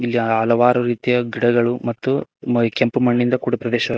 ಇಲ್ಲಿ ಹಲವಾರು ರೀತಿಯ ಗಿಡಗಳು ಮತ್ತು ಕೆಂಪು ಮಣ್ಣಿನಿಂದ ಕೂಡಿದ ಪ್ರದೇಶ--